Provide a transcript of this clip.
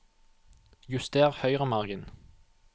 Juster høyremargen